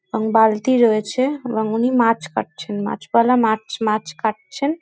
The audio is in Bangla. এবং বালতি রয়েছে এবং উনি মাছ কাটছেন। মাছবালা মাছ মাছ কাটছেন।